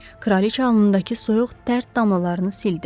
Kraliçə alnındakı soyuq dərd damlalarını sildi.